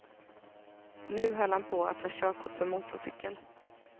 Nu höll han på att ta körkort för motorcykel.